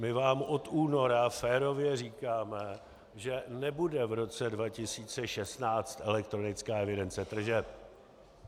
My vám od února férově říkáme, že nebude v roce 2016 elektronická evidence tržeb.